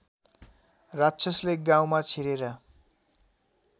राक्षसले गाउँमा छिरेर